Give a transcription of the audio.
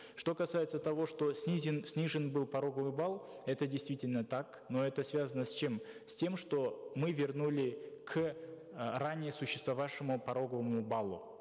что касается того что снижен был пороговый балл это действительно так но это связано с чем с тем что мы вернули к э ранее существовавшему пороговому баллу